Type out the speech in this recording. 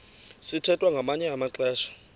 sithwethwa ngamanye amaxesha